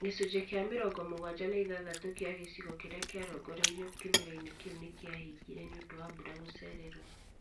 Gĩcunjĩ kĩa mĩrongo mũgwanja na ithathatũ kĩa gĩcigo kĩrĩa kĩarongoreirio kĩmera-inĩ kĩu nĩkiahingire nĩũndũ wa mbura gũcererwo